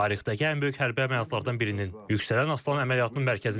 Tarixdəki ən böyük hərbi əməliyyatlardan birinin, Yüksələn Aslan əməliyyatının mərkəzindəyik.